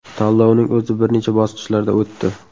Tanlovning o‘zi bir necha bosqichlarda o‘tdi.